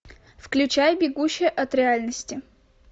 включай бегущая от реальности